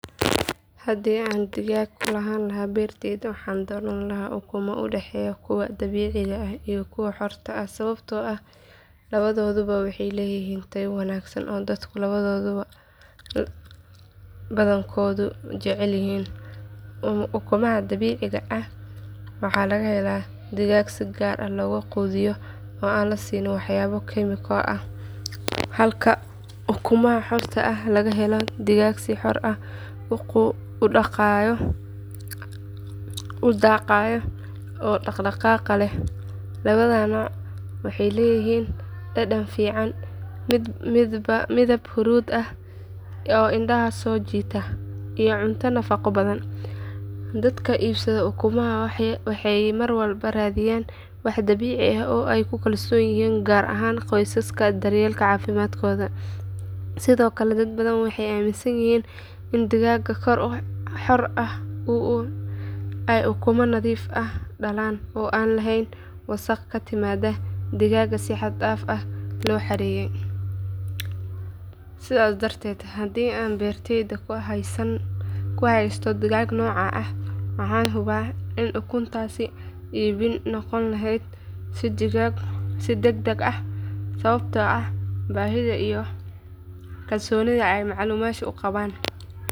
Haddii aan digaag ku lahaa beertayda waxaan dooran lahaa ukumo u dhexeeya kuwa dabiiciga ah iyo kuwa xorta ah sababtoo ah labadooduba waxay leeyihiin tayo wanaagsan oo dadka badankoodu jecel yihiin. Ukumaha dabiiciga ah waxaa laga helaa digaag si gaar ah loo quudiyo oo aan la siin waxyaabo kiimiko ah halka ukumaha xorta ah laga helo digaag si xor ah u daaqaya oo dhaqdhaqaaq leh. Labada nooc waxay leeyihiin dhadhan fiican, midab huruud ah oo indhaha soo jiita, iyo cunto nafaqo badan. Dadka iibsada ukumaha waxay mar walba raadiyaan wax dabiici ah oo ay ku kalsoon yihiin gaar ahaan qoysaska daryeela caafimaadkooda. Sidoo kale dad badan waxay aamminsan yihiin in digaagga xor ah ay ukumo nadiif ah dhalaan oo aan lahayn wasaqda ka timaadda digaag si xad dhaaf ah loo xareeyay. Sidaas darteed haddii aan beertayda ku haysto digaag noocan ah waxaan hubaa in ukuntaasi iib noqon lahayd si degdeg ah sababtoo ah baahida iyo kalsoonida ay macaamiishu ku qabaan.